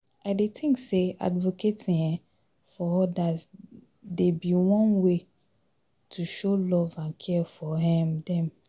I dey think say advocating um for odas dey be one way to show love and care for um dem.